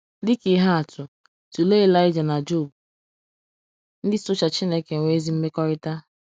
Dị ka ihe atụ, tụlee Elijiah na Job — ndị socha Chineke nwee ezi mmekọrịta.